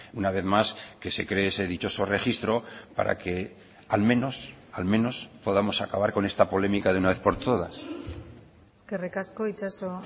una vez más que se cree ese dichoso registro para que al menos al menos podamos acabar con esta polémica de una vez por todas eskerrik asko itxaso